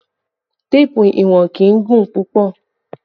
Téèpù ìwọ̀n kì í gùn púpọ̀